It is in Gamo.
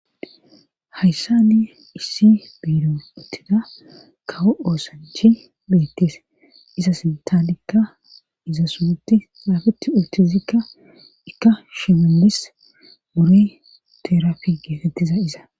Hayssani issi biiro uttida kawo oosanchi beettees iza sintanikka iza sunti xaafetti uttizikka ikka shimelis mure terafi geetetiza iza.